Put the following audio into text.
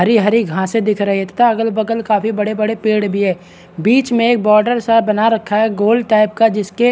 हरी हरी घासें दिख रही है तथा अगल बगल काफी बड़े बड़े पेड़ भी है बीच में एक बॉर्डर सा बना रखा है गोल टाइप का जिसके --